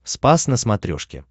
спас на смотрешке